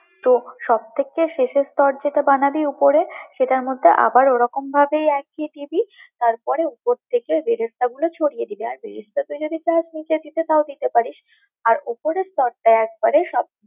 তো সবথেকে শেষের স্তর যেটা বানাবি উপরে, সেটার মধ্যে আবার ওরকম ভাবেই উপর থেকে দিবি, তার পরে উপর থেকে বেরেস্তাগুলো ছড়িয়ে দিবি, আর বেরেস্তা তুই যদি চাস বেটে দিতে তাও দিতে পারিস, আর উপরের স্তরটায় একবারে সব।